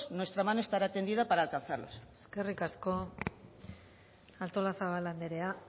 nuestra mano estará tendida para alcanzarlos eskerrik asko artolazabal anderea